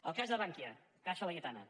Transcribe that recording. el cas de bankia caixa laietana